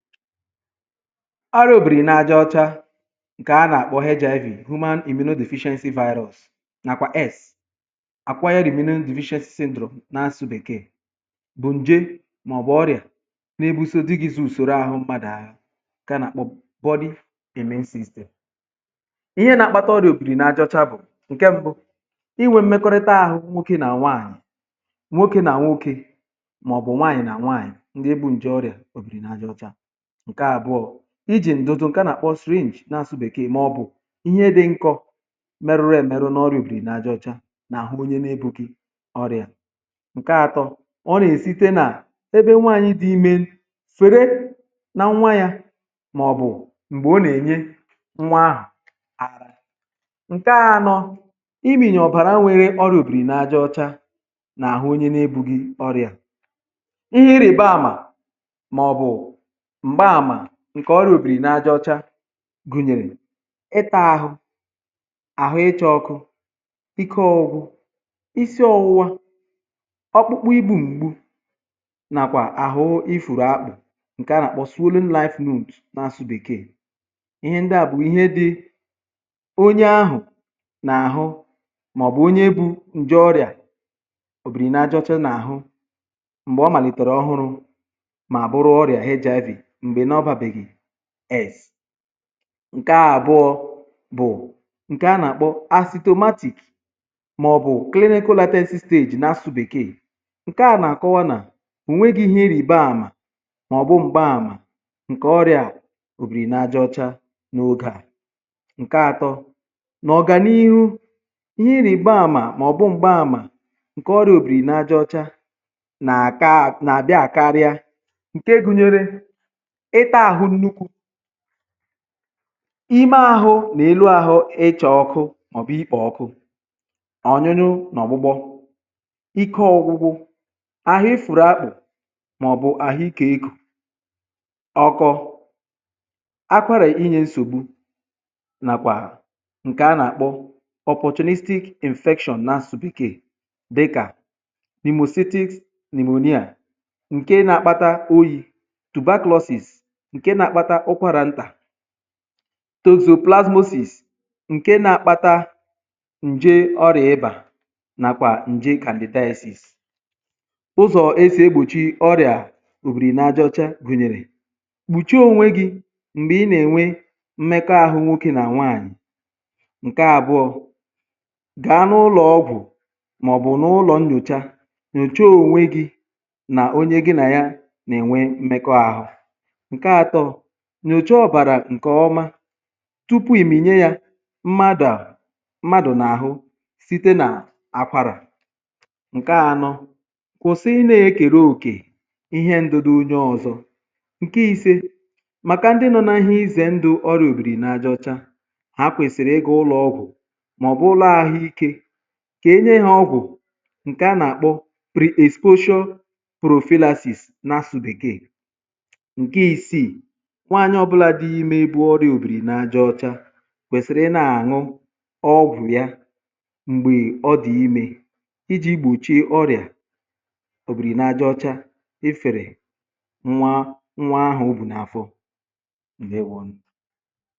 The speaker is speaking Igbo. ọrịà òbìrì n’ajọ̇ ọcha ǹkè a nà-àkpọ heja evi̇ hụma ihẹ nà òmenu dị̇ ephéchnsɪ virus nàkwa s àkwà yȧ rìmenu ndùvishẹsị síndro n’asụ̇ bèkee bụ̀ ǹje màọ̀bụ̀ ọrịà n’ègbu̇so dị gị̇zị̇ ùsòrò ahụ̀ mkpàdà hụ ǹkè a nà-àkpọ bọdi̇ ème sistemì ihe nà-àkpata ọrịà òbìrì n’ajọ̇ ọcha bụ̀ ǹkẹ̀ mbụ̇ ịnwẹ̇ mmekọrịta ahụ̇ nwokė nà nwaànyị̀ nwokė nà nwokė màọ̀bụ̀ nwaànyị̀ nà nwaànyị̀ ndị ebu̇ ǹje ọrịà òbìrì n’ajọ̇ ọcha ǹke àbụọ̇ bụ̀ ijì ǹdụ̀dụ̀ ǹkè a nà-àkpọ syringe n’asụ̇sụ̇ bèkee màọ̀bụ̀ ihe dị nkọ̇ merurù èmeru nà ọrụ̀bìrì n’aja ọ̀cha n’àhụ onye n’ebù gị ọrịà ǹke atọ ọ nà-èsi site nà ebe nwaànyị dị imė swère nà nwa yȧ màọ̀bụ̀ m̀gbè ọ nà-ènye nwa ahà ǹke anọ bụ̀ imìnyè ọ̀bàrà onye nwèrè ọrịà òbìrì n’ajọ̇ ọcha n’àhụ onye n’ebù gị ọrịà ihe ịrị̀ba àmà ǹkè ọrịà òbìrì n’ajọ̇ ọcha gụ̀nyèrè ịtȧ ȧhụ̇ àhụ, ịchọ̇ ọkụ, pikiọ̇gwụ̇, isi ọwụwa, ọkpụkpụ, ibu̇ m̀gbu nàkwà àhụ ifùrù akpụ̇ ǹkè a nà-àkpọs olinife noònt n’asụ̇sụ̇ bèkee ihe ndịa bụ̀ ihe dị onye ahụ̀ n’àhụ màọ̀bụ̀ onye bu̇ ǹje ọrịà òbìrì n’ajọ̇ ọcha n’àhụ m̀gbè ọ màlìtèrè ọhụrụ̇ ǹke àbụọ̇ bụ̀ ǹke a nà-àkpọ acidomatiik màọ̀bụ̀ clericolatensi storage n’asụ̇sụ̇ bèkee ǹke a nà-àkọwa nà o nwėghi̇ ihe ịrị̀ba àmà màọ̀bụ̀ m̀gba àmà ǹke ọrịà òbìrì n’ajọ̇ ọcha n’àhụ n’ogè à ǹke atọ bụ̀ ọ̀gànihu ihe ịrị̀ba àmà màọ̀bụ̀ m̀gba àmà ǹke ọrịà òbìrì n’ajọ̇ ọcha n’àka nà-àbịa àkarịa ime ȧhụ̇ n’elu ȧhụ̇, ịchọ̇ ọkụ̇ màọ̀bụ̀ ikpò ọkụ̇, ònyonyoụ n’ọ̀gbụgbọ̇, ike ọ̀gwụgwụ̇ àhụ, ifùrù akpụ̀, màọ̀bụ̀ àhụ ikė egȯ ọkọ̇ akwara, inyė nsògbu nàkwà ǹkè a nà-àkpọ anwụ̇stàkwà̀ nàsògbìkè dịkà nìmò city nìmonyèà ǹke nà-àkpata oyi̇, ǹkè nà-àkpata ụkwarà ntà, tozù plasmasis, ǹke na-akpata ǹje ọrịà ịbà nàkwà ǹjikàndị́tasis ụzọ̀ esì egbòchi ọrịà òbìrì n’ajọ̇ ọcha gụ̀nyèrè gbùchuo ònwe gị́ m̀gbè ị nà-enwe mmekọrịta ahụ̇ nwokė nà nwaanyị̀, ǹke àbụọ bụ̀ gàa n’ụlọ̀ ọgwụ̀ màọ̀bụ̀ n’ụlọ̀ nnyòcha kà i nà onye gị̇ nà ya nà-enwe mmekọrịta ahụ̇ nyòche ọ̀bàrà ǹke ọma tupu ìmìnye ya mmadụ̀ n’àhụ site nà akwàrà, ǹke anọ kwụ̀sịrị ịnēkèrè òkè ihe ndụ̀dụ̀ onye ọ̇zọ̇ ǹke ise bụ̀ màkà ndị nọ̇ n’ahịa izė ndụ̀ ọrụ̇, ndị ọbìrì n’ajọ̇ ọcha ha kwèsìrì ịgà ụlọ̇ ọgwụ̀ màọ̀bụ̀ ụlọ̇ àhụ ikė kà enye ha ọgwụ̀ ǹkè a nà-àkpọ pre-exposure prophylaxis nàkwà nwaànyị̀ ọ̀bụlà dị ime bụ ọrịà òbìrì n’ajọ̇ ọcha kwèsìrì ịṅụ ọgwụ̀ ahụ̀ m̀gbè ọ dị̀ ime iji̇ gbochie ọrịà òbìrì n’ajọ̇ ọcha ifèrè nwa nwa ahụ̀ ọ bù n’afọ nne nwȧ